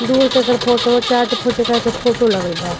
दूर से एकर फोटो चारठे फोटो लागल बा।